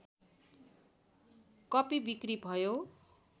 कपि बिक्री भयो